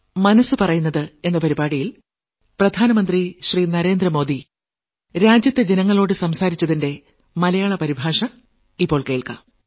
മനസ്സ് പറയുന്നത് നാൽപ്പത്തിമൂന്നാം ലക്കം